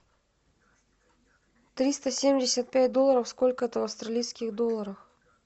триста семьдесят пять долларов сколько это в австралийских долларах